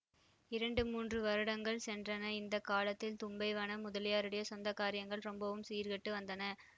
இரண்டு மூன்று வருடங்கள் சென்றன இந்த காலத்தில் தும்பை வனம் முதலியாருடைய சொந்த காரியங்கள் ரொம்பவும் சீர்கெட்டு வந்தன